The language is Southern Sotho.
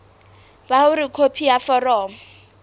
ba hore khopi ya foromo